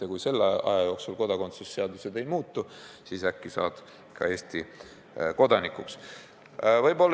Ja kui selle aja jooksul kodakondsuse seadus ei muutu, siis äkki saadki Eesti kodanikuks.